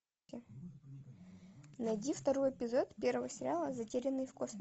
найди второй эпизод первого сериала затерянные в